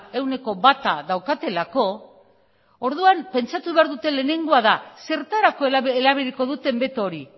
ehuneko bata daukatelako orduan pentsatu behar duten lehenengoa da zertarako erabiliko duten beto hori